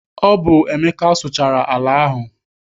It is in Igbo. Ọ bụ Emeka sụchara ala ahụ.